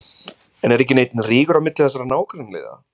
En er ekki neinn rígur á milli þessara nágrannaliða?